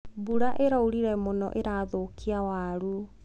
Mbura ĩraurire mũno ĩrathũkia waru.